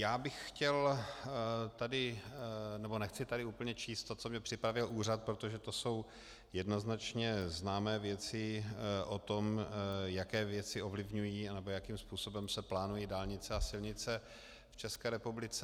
Já bych chtěl tady - nebo nechci tady úplně číst to, co mi připravil úřad, protože to jsou jednoznačně známé věci o tom, jaké věci ovlivňují, nebo jakým způsobem se plánují dálnice a silnice v České republice.